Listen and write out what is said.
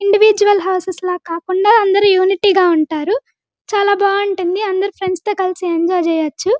Individual houses లాగా కాకుండా అందరు యూనిటీ గ ఉంటారు చాలా బాగుంటుంది అందరు ఫ్రెండ్స్ తో కలిసి ఎంజాయ్ చెయ్యొచ్చు.